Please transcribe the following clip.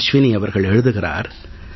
அஸ்வினி அவர்கள் எழுதுகிறார்